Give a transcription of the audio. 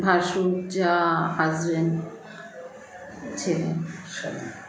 ভাসুর জা husband ছেলে সবই